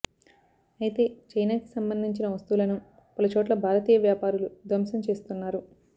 అయితే చైనా కి సంబంధించిన వస్తువులను పలు చోట్ల భారతీయ వ్యాపారులు ధ్వంసం చేస్తున్నారు